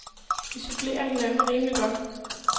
Vi supplerer hinanden rimeligt godt.